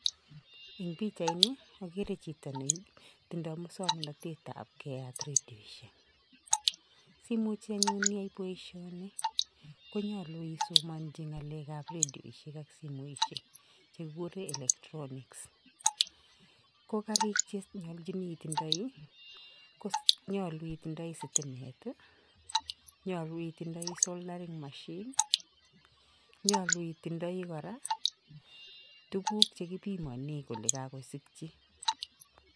Eng pichaini ageere chito netindoi muswoknatetab keyat redioshiek, simuch anyuun iyai boisioni konyolu isomanchi ngalekab redioshiek ak simoishek chekikure electronics ko kariik che nyolchin itindoi, konyolu itindoi sitimet, nyolu itindoi soldaring machine , nyolu itindoi kora tuguk che kipimane kole kakosikchi.